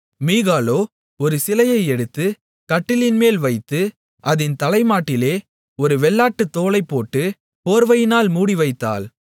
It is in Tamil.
மீகாளோ ஒரு சிலையை எடுத்து கட்டிலின்மேல் வைத்து அதின் தலைமாட்டிலே ஒரு வெள்ளாட்டுத் தோலைப் போட்டு போர்வையினால் மூடி வைத்தாள்